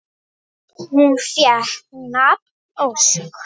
Hún fékk nafnið Ósk.